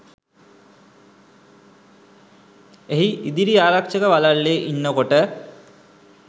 එහි ඉදිරි ආරක්ෂක වළල්ලේ ඉන්නකොට